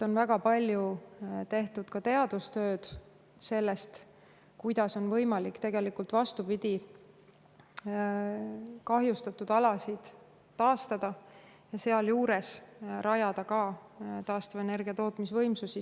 On väga palju tehtud ka teadustööd selle kohta, kuidas on võimalik tegelikult, vastupidi, kahjustatud alasid taastada ja sealjuures ka rajada samasse kohta taastuvenergia tootmisvõimsusi.